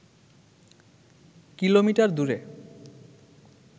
kilometre দূরে